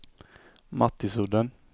Mattisudden